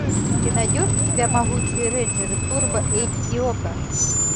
ты найдешь у себя могучие рейнджеры турбо эйч ди окко